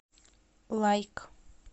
лайк